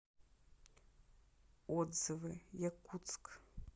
отзывы якутск